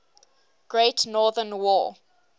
great northern war